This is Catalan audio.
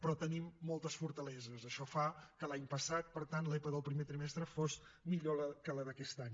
però tenim moltes fortaleses això fa que l’any passat per tant l’epa del primer trimestre fos millor que la d’aquest any